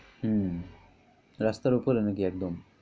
হম রাস্তার উপরে নাকি একদম।